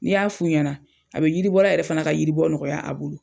N'i y'a f'u ɲana, a be yiribɔla yɛrɛ fana ka yiribɔ nɔgɔya a bolo.